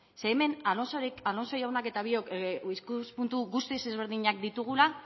ze hemen alonso jaunak eta biok ikuspuntu guztiz ezberdinak ditugula